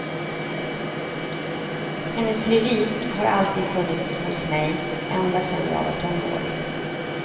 Hennes lyrik har alltid funnits hos mig, ända sen jag var tonåring.